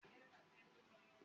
Bẹ́ẹ̀ni, olúgbàléjò ni mí.